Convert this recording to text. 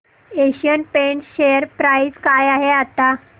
Asian Paints share price काय आहे आता